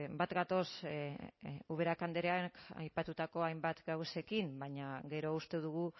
bat gatoz ubera andreak aipatutako hainbat gauzekin baina gero uste dugu